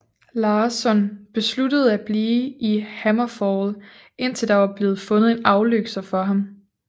Larsson besluttede at blive i HammerFall indtil der var blevet fundet en afløser for ham